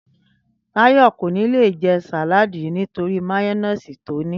Táyo̩ kò ní lè je̩ sàláàdì yìí nítorí máyó̩néèsì tó ní